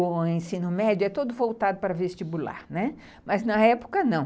O ensino médio é todo voltado para vestibular, né, mas na época não.